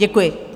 Děkuji.